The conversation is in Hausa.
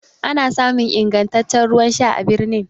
ana samun ingantaccen ruwan Sha a birnin